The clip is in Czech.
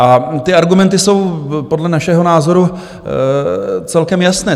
A ty argumenty jsou podle našeho názoru celkem jasné.